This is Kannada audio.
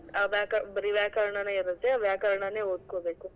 ಆ ವ್ಯಾಕ~ ಬರಿ ವ್ಯಾಕರಣನೇ ಇರತ್ತೆ ವ್ಯಾಕರಣನೇ ಓದ್ಕೋಬೇಕು.